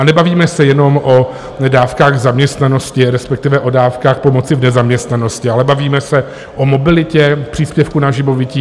A nebavíme se jenom o dávkách zaměstnanosti, respektive o dávkách pomoci v nezaměstnanosti, ale bavíme se o mobilitě, příspěvku na živobytí.